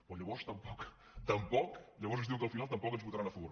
però llavors tampoc llavors ens diuen que al final tampoc ens hi votaran a favor